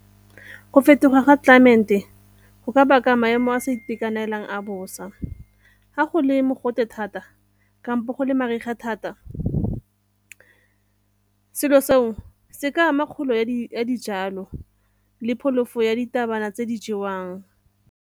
Go fetoga ga climate go ka baka maemo a a sa itekanelang a bosa ha go le mogote thata kampo go le mariga thata. Selo seo se ka ama kgolo ya dijalo le pholoso ya ditabana tse di jewang.